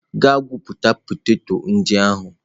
Gaa gwupụta poteto ndị ahụ!.